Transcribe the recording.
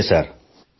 ನಮಸ್ತೆ ಸರ್